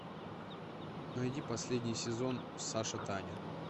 найди последний сезон саша таня